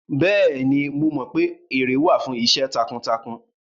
Bẹ́ẹ̀ni, mo mọ pé ère wà fún iṣẹ́ takuntakun